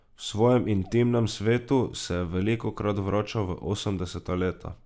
V svojem intimnem svetu se je velikokrat vračal v osemdeseta leta.